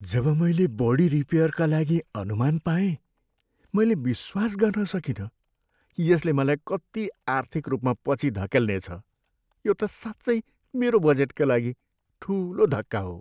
जब मैले बडी रिपेयरका लागि अनुमान पाएँ, मैले विश्वास गर्न सकिन कि यसले मलाई कति आर्थिक रूपमा पछि धकेल्नेछ। यो त साँच्चै मेरो बजेटका लागि ठुलो धक्का हो।